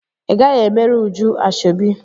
Ị gaghị emere Uju ashọbi!